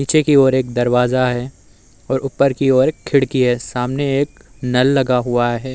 पीछे की ओर एक दरवाजा है और ऊपर की ओर एक खिड़की है। सामने एक नल लगा हुआ है।